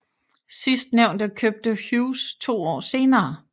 Sidstnævnte købte Hughes to år senere